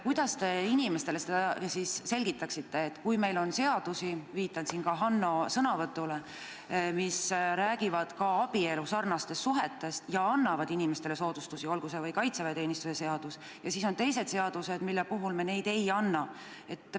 Kuidas te inimestele seda selgitaksite, et meil on seadusi – viitan siin ka Hanno sõnavõtule –, mis räägivad abielusarnastest suhetest ja annavad inimestele soodustusi, olgu see või kaitseväeteenistuse seadus, ja siis on teised seadused, mille puhul neid ei anta?